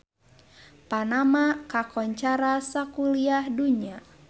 Panama kakoncara sakuliah dunya